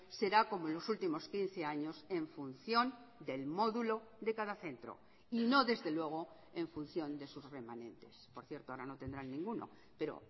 será como en los últimos quince años en función del módulo de cada centro y no desde luego en función de sus remanentes por cierto ahora no tendrán ninguno pero